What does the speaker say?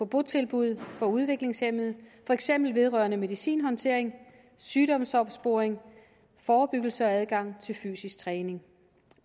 botilbud for udviklingshæmmede for eksempel vedrørende medicinhåndtering sygdomsopsporing forebyggelse og adgang til fysisk træning